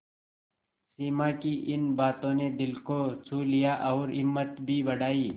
सिमा की इन बातों ने दिल को छू लिया और हिम्मत भी बढ़ाई